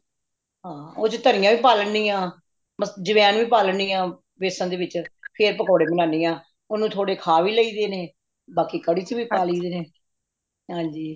ਹਾਂ ਓਹਦੇ ਵਿੱਚ ਤਣੀਆਂ ਵੀ ਪਾ ਲੇਣੀ ਅਝਵੈੱਨ ਵੀ ਪਾ ਲੈਂਦੀ ਹਾਂ ਬੇਸਨ ਦੇ ਵਿੱਚ ਫੇਰ ਪਕੌੜੇ ਬਣਾਣੀ ਹਾਂ ਓਹਨੂੰ ਥੋੜੇ ਖਾਵਿ ਲਈ ਦੇ ਨੇ ਬਾਕੀ ਕੜੀ ਵਿੱਚ ਵੀ ਪਾ ਲਈਦੇ ਵੇ ਹਾਂਜੀ